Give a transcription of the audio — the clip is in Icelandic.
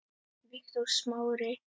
Viktor Smári.